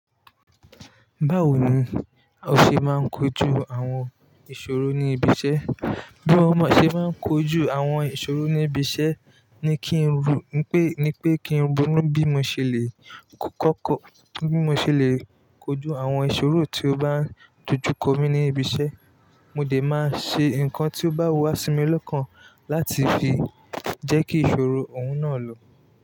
Báwo ni o ṣe máa ń kojú àwọn ìṣòro ní ibi iṣẹ́? Bí mo ṣe máa ń kojú àwọn ìṣòro níbi iṣẹ́ ni kí ń ro, pé ni pé kí ń ronu bí mo ṣe le kọ́kọ́, bí mo ṣe le kojú àwọn ìṣòro tí ó bá dojú kọ mí ní ibi iṣẹ́. Mo dè máa ṣe nǹkan tí ó bá wà sí mi lọ́kàn láti fi jẹ́ kí ìṣòro òun náà lọ.